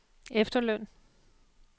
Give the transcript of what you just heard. efterløn